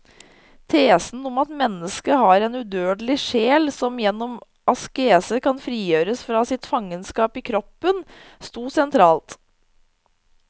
Tesen om at mennesket har en udødelig sjel som gjennom askese kan frigjøres fra sitt fangenskap i kroppen, stod sentralt.